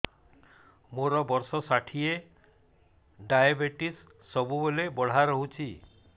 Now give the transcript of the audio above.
ମୋର ବର୍ଷ ଷାଠିଏ ଡାଏବେଟିସ ସବୁବେଳ ବଢ଼ା ରହୁଛି